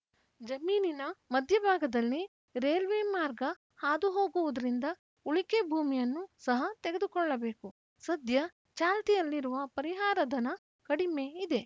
ಜಮೀನಿನ ಮಧ್ಯಭಾಗದಲ್ಲಿ ರೇಲ್ವೆ ಮಾರ್ಗ ಹಾದುಹೋಗುವುದರಿಂದ ಉಳಿಕೆ ಭೂಮಿಯನ್ನು ಸಹ ತೆಗೆದುಕೊಳ್ಳಬೇಕು ಸದ್ಯ ಚಾಲ್ತಿಯಲ್ಲಿರುವ ಪರಿಹಾರಧನ ಕಡಿಮೆ ಇದೆ